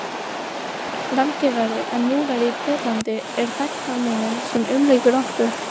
Rammgerari en múrinn í Berlín er þagnarmúrinn sem umlykur okkur